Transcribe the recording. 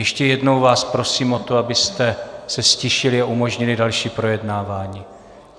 Ještě jednou vás prosím o to, abyste se ztišili a umožnili další projednávání.